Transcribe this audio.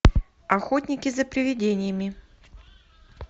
охотники за приведениями